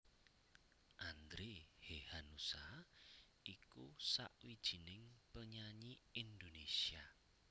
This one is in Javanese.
Andre Hehanussa iku sawijining penyanyi Indonesia